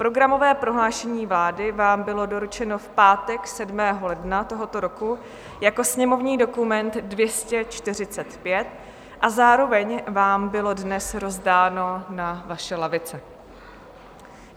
Programové prohlášení vlády vám bylo doručeno v pátek 7. ledna tohoto roku jako sněmovní dokument 245 a zároveň vám bylo dnes rozdáno na vaše lavice.